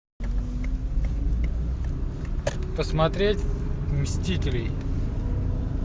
посмотреть мстителей